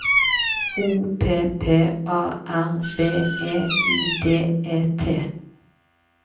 O P P A R B E I D E T